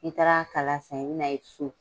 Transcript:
N'i taara kala san i bɛ na ye su